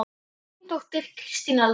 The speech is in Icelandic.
Þín dóttir, Kristín Elfa.